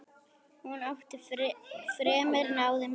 Hún átti fremur náðugan dag.